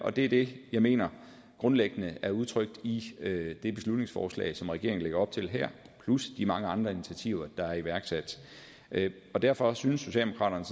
og det er det jeg mener grundlæggende er udtrykt i det beslutningsforslag som regeringen lægger op til her plus i de mange andre initiativer der er iværksat og derfor synes socialdemokraterne